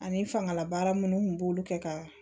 Ani fangalabaara minnu kun b'olu kɛ ka